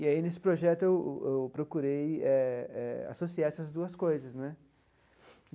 E aí, nesse projeto, eu eu procurei eh eh associar essas duas coisas né.